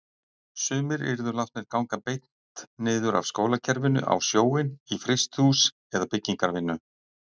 Sumir yrðu látnir ganga beint niður af skólakerfinu á sjóinn, í frystihús eða byggingarvinnu.